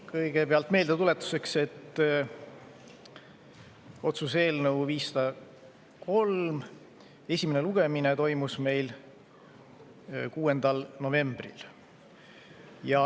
Kõigepealt meeldetuletuseks, et otsuse eelnõu 503 esimene lugemine toimus meil 6. novembril.